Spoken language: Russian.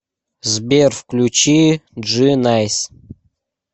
сбер включи джи найс